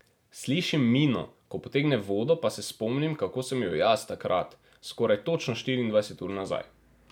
Slišim Mino, ko potegne vodo, pa se spomnim, kako sem jo jaz, takrat, skoraj točno štiriindvajset ur nazaj.